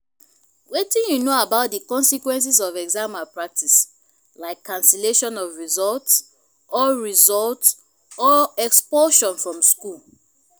wetin you know about di consequences of exam malpractice like cancellation of results or results or expulsion from school?